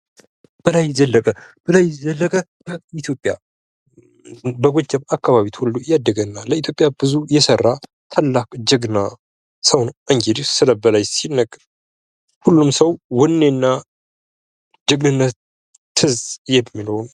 በላይ ዘለቀ። በላይ ዘለቀ በኢትዮጵያ በጎጃም አካባቢ ተወልዶ ያደገና ብዙ የሰራ ታላቅ ጀግና ሰው። እንግዲህ ስለ በላይ ሲነገር ሁሉም ሰው ወኔና ጀግንነት ትዝ የሚለው።